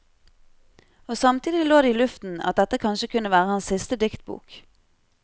Og samtidig lå det i luften at dette kanskje kunne være hans siste diktbok.